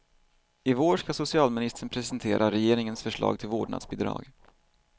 I vår skall socialministern presentera regeringens förslag till vårdnadsbidrag.